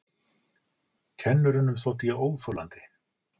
Kennurunum þótti ég óþolandi.